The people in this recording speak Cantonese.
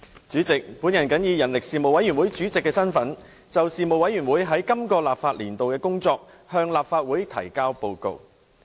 主席，我謹以人力事務委員會主席的身份，就事務委員會在本立法年度的工作，向立法會提交報告。